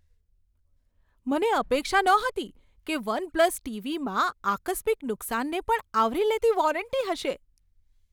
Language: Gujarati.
મને અપેક્ષા નહોતી કે વન પ્લસ ટીવીમાં આકસ્મિક નુકસાનને પણ આવરી લેતી વોરંટી હશે.